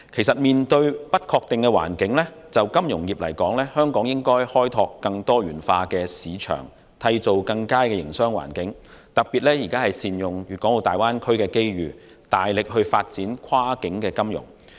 面對不確定的環境，就金融業而言，香港應開拓更多元化的市場，締造更佳營商環境，特別是善用大灣區的機遇，大力發展跨境金融。